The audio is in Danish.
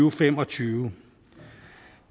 og fem og tyve